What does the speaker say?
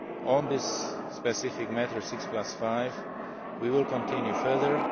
FIFA. On this specific matter of six plus five' we will continue